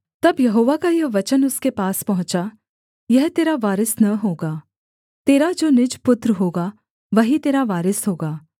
तब यहोवा का यह वचन उसके पास पहुँचा यह तेरा वारिस न होगा तेरा जो निज पुत्र होगा वही तेरा वारिस होगा